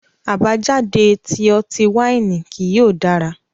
Abajade ti ọti-waini kii yóò dara